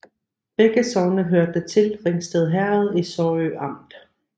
Begge sogne hørte til Ringsted Herred i Sorø Amt